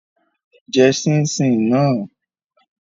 Jẹ ṣíín-ṣiìn náà!